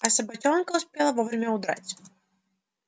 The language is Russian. а собачонка успела вовремя удрать